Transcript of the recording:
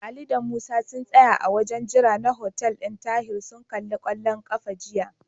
Ali da Musa sun tsaya a wajen jira na hotel ɗin Tahir sun kalli kwallon ƙafa jiya.